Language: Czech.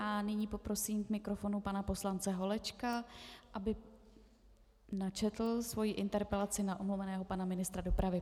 A nyní poprosím k mikrofonu pana poslance Holečka, aby načetl svoji interpelaci na omluveného pana ministra dopravy.